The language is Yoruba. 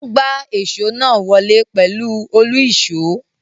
Wọ́n gbá èso náà wọlé pẹ̀lú òlu-ìsó.